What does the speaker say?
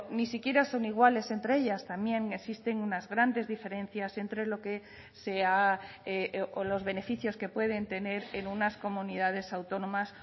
ni siquiera son iguales entre ellas también existen unas grandes diferencias entre los beneficios que pueden tener en unas comunidades autónomas